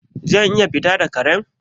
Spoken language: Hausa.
Zan iya fita da Karen?